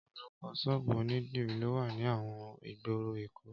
Ọpọlọpọ ṣọ́ọ̀bù ónídirí ló wà ni awọn igbóró Ékó